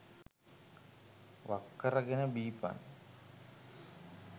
වක්කර ගෙන බීපන්.